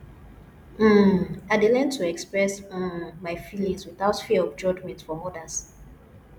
um i dey learn to express um my feelings without fear of judgment from others